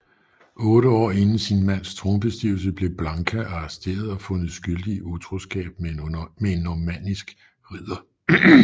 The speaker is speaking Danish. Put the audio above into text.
Otte år inden sin mands tronbestigelse blev Blanka arresteret og fundet skyldig i utroskab med en normandisk ridder